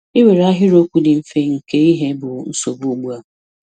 I nwere ahịrịokwu dị mfe nke ihe bụ nsogbu ugbua.